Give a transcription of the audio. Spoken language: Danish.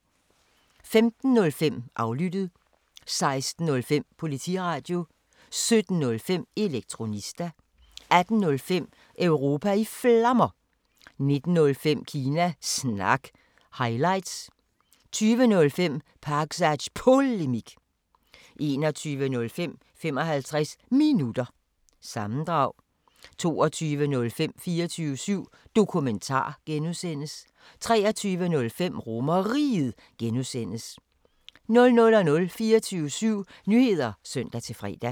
15:05: Aflyttet 16:05: Politiradio 17:05: Elektronista 18:05: Europa i Flammer 19:05: Kina Snak – highlights 20:05: Pakzads Polemik 21:05: 55 Minutter – sammendrag 22:05: 24syv Dokumentar (G) 23:05: RomerRiget (G) 00:00: 24syv Nyheder (søn-fre)